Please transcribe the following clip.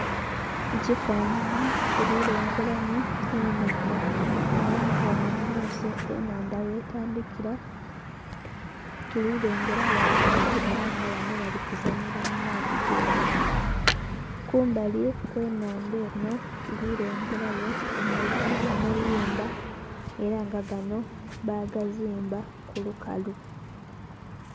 Mukifananhi tuli lengeramu enhandha era nga ghanho mu maiso enhandha ghe tandhikila tuli lengeragho abantu era nga banho bali kuzanhira mu maadhi ge nhandha. Kumbali kwe nhandha enho tuli lengerayo amayumba era nga ganho bagazimba ku lukalu.